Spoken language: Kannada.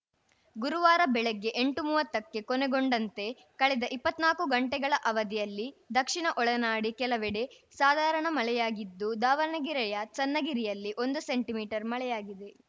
ಗುರುವಾರ ಬೆಳಗ್ಗೆ ಎಂಟುಮೂವತ್ತಕ್ಕೆ ಕೊನೆಗೊಂಡಂತೆ ಕಳೆದ ಇಪ್ಪತ್ನಾಕು ಗಂಟೆಗಳ ಅವಧಿಯಲ್ಲಿ ದಕ್ಷಿಣ ಒಳನಾಡಿನ ಕೆಲವೆಡೆ ಸಾಧಾರಣ ಮಳೆಯಾಗಿದ್ದು ದಾವಣಗೆರೆಯ ಚನ್ನಗಿರಿಯಲ್ಲಿ ಒಂದು ಸೆಂಟಿಮೀಟರ್ಮಳೆಯಾಗಿದೆ